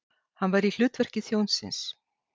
Hann var í hlutverki þjónsins.